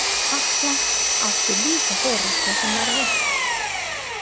Halla átti líka foreldri sem var veikt.